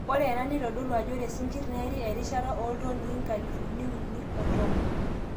ore ena nitodolu ajo ore isinkir neeri erishata e 310,00 tons